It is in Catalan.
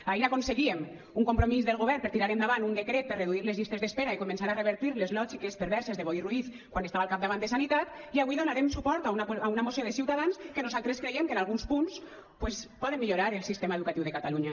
ahir aconseguíem un compromís del govern per tirar endavant un decret per reduir les llistes d’espera i començar a revertir les lògiques perverses de boi ruiz quan estava al capdavant de sanitat i avui donarem suport a una moció de ciutadans que nosaltres creiem que en alguns punts doncs poden millorar el sistema educatiu de catalunya